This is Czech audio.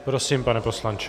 Prosím, pane poslanče.